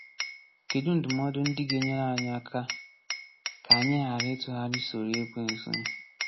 Kedụ ndụmọdụ ndị ga-enyere anyị aka ka anyị ghara ‘ịtụgharị soro Ekwensu’?